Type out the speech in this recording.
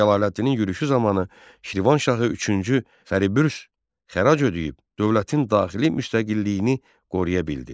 Cəlaləddinin yürüşü zamanı Şirvanşahı üçüncü Fəribürs xərac ödəyib, dövlətin daxili müstəqilliyini qoruya bildi.